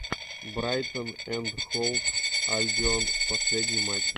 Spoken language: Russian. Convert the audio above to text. брайтон энд хоув альбион последний матч